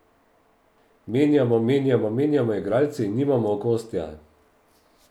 Menjamo, menjamo, menjamo igralce in nimamo okostja.